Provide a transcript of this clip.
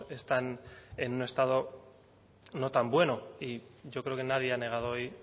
están en un estado no tan bueno y yo creo que nadie ha negado hoy